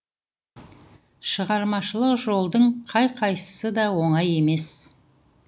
шығармашылық жолдың қай қайсысы да оңай емес